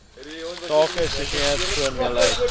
tabak isosianate formaldehied